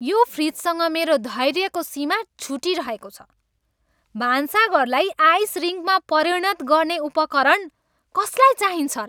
यो फ्रिजसँग मेरो धैर्यको सिमा छुटिरहेको छ। भान्साघऱलाई आइस रिङ्कमा परिणत गर्ने उपकरण कसलाई चाहिन्छ र?